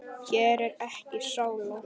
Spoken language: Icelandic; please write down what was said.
Hér er ekki sála.